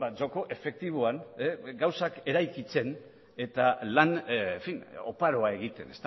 joko efektiboan gauzak eraikitzen eta lan oparoa egiten